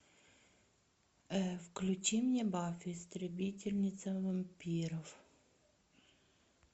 включи мне баффи истребительница вампиров